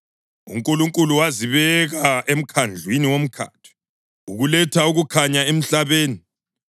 UNkulunkulu wazibeka emkhandlwini womkhathi ukuletha ukukhanya emhlabeni,